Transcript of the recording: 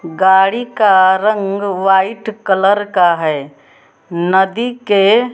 गाड़ी का रंग व्हाइट कलर का है नदी के--